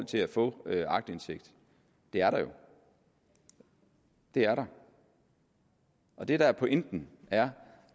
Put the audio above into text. til at få aktindsigt det er der jo det er der og det der er pointen er